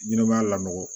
Ɲɛnɛmaya la nɔgɔ